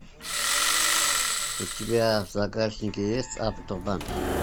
у тебя в загашнике есть автобан